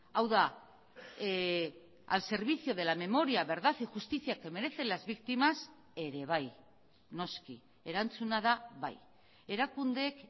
hau da al servicio de la memoria verdad y justicia que merecen las víctimas ere bai noski erantzuna da bai erakundeek